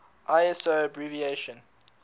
iso abbreviation